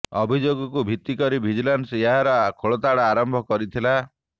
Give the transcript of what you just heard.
ଅଭିଯୋଗକୁ ଭିତ୍ତି କରି ଭିଜିଲାନ୍ସ ଏହାର ଖୋଳତାଡ଼ ଆରମ୍ଭ କରିଥିଲା